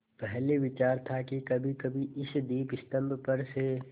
पहले विचार था कि कभीकभी इस दीपस्तंभ पर से